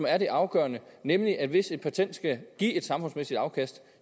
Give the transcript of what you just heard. er det afgørende nemlig at hvis et patent skal give et samfundsmæssigt afkast